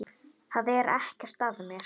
Það er ekkert að mér.